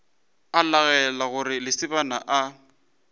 a laela gore lesibana a